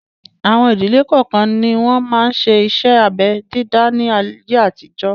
Àwọn ìdílé kọọ́kan ni wọn máa ń ṣe iṣẹ́ abẹ dídá ni ayé àtijọ́